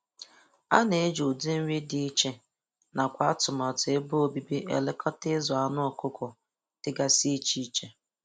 Ana eji ụdị nri dị iche nakwa atụmatụ ebe obibi elekọta ịzụ anụ ọkụkọ dịgasị iche iche